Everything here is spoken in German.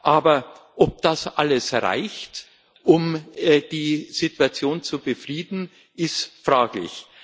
Aber ob das alles reicht, um die Situation zu befrieden, ist fraglich.